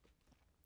DR K